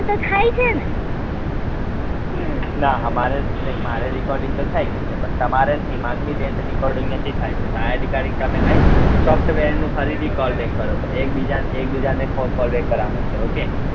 ના અમારે દેખ મારે recording તો થઇ ગયું છે પણ તમારે ને હિમાંગી બેન ને recording નથી થયો ફરી થી call back કરો તો એકબીજા એકબીજા ને call back કરવા નો ચ્વ્હે okay